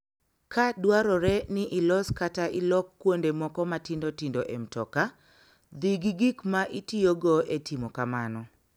Ka dwarore ni ilos kata ilok kuonde moko matindo tindo e mtoka, dhi gi gik ma itiyogo e timo kamano.